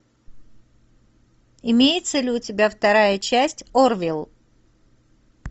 имеется ли у тебя вторая часть орвилл